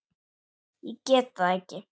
Ég get það ekki